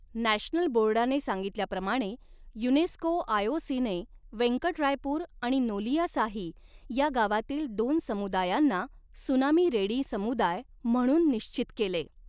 National बोर्डाने सांगितल्याप्रमाणे UNESCO आयओसीने वेंकटरायपूर आणि नोलियासाही या गावातील दोन समुदायांना त्सुनामी रेडी समुदाय म्हणून निश्चित केले.